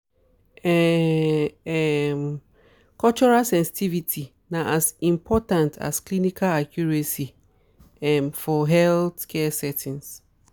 um um cultural sensitivity na as important as clinical accuracy um for healthcare settings.